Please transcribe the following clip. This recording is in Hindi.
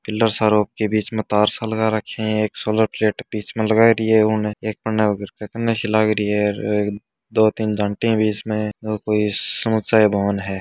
इलो सारो के बीच तार सा लगा रक्खे है एक सोलर प्लेट बीच में हैं दिया उन्होंने दो तीन जानटी भी है इसमें है।